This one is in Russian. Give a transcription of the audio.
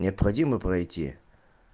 необходимо пройти